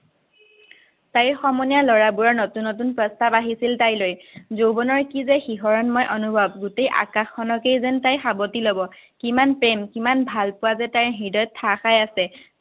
তাইৰ সমনীয়া লৰাবোৰৰ নতুন প্ৰস্তাৱ আহিছিল তাইলৈ। যৌৱনৰ কিযে শিহৰণময় অনুভৱ, গোটেই আকাশখনকেই যেন তাই সাৱতি লব। কিমান প্ৰেম, কিমান ভালপোৱা যে তাইৰ হৃদয়ত ঠাহ খাই আছে।